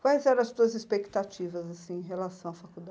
Quais eram as tuas expectativas, assim, em relação à